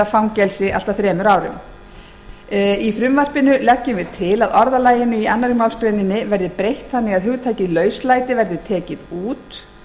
fangelsi allt að þremur árum í frumvarpi þessu er lagt til að orðalagi í annarri málsgrein nítugasta og níundu grein verði breytt þannig að hugtakið lauslæti verði tekið út